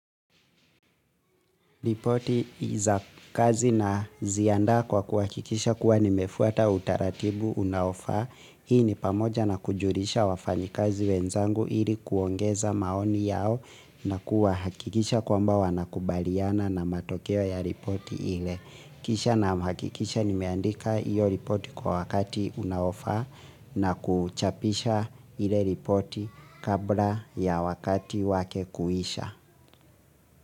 Ripoti ii za kazi na ziandaa kwa kuhakikisha kuwa nimefuata utaratibu unaofaa. Hii ni pamoja na kujulisha wafanyi kazi wenzangu ili kuongeza maoni yao na kuwa hakikisha kwamba wanakubaliana na matokeo ya ripoti ile. Kisha na hakikisha nimeandika iyo ripoti kwa wakati unaofaa na kuchapisha ile ripoti kabla ya wakati wake kuisha.